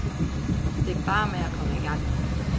Det er bare med at komme i gang.